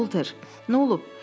Bolter, nolub?